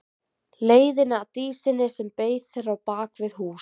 Leiðina að Dísinni sem beið þeirra á bak við hús.